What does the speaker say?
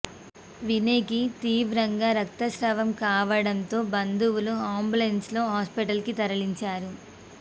వినయ్ కి తీవ్రంగా రక్తస్రావం కావడంతో బంధువులు అంబులెన్స్ లో హాస్పిటల్ కి తరలించారు